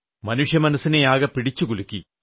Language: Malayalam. മനുഷ്യമനസ്സിനെയാകെ പിടിച്ചു കുലുക്കി